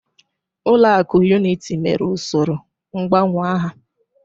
Ulọ akụ Unity mere usoro ngbanwe aha.